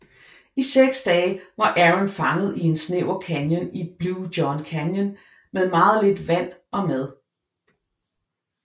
I seks dage var Aron fanget i en snæver canyon i Blue John Canyon med meget lidt vand og mad